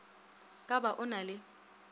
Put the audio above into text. ka ba o na le